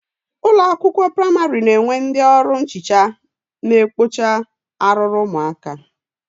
Ụlọakwụkwọ praịmarị na-enwe ndị ọrụ nhicha na-ekpocha arụrụ ụmụaka